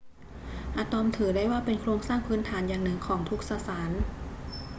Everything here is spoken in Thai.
อะตอมถือได้ว่าเป็นโครงสร้างพื้นฐานอย่างหนึ่งของทุกสสาร